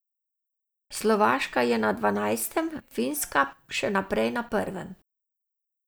Slovaška je na dvanajstem, Finska še naprej na prvem.